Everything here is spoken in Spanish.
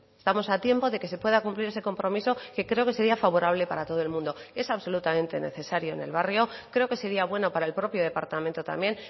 estamos a tiempo de que se pueda cumplir ese compromiso que creo que sería favorable para todo el mundo es absolutamente necesario en el barrio creo que sería bueno para el propio departamento también